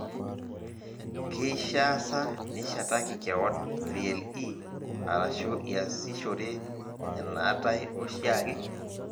Keishaa sa nishetaki keon VLE arashu iasishore enaatai oshia ake?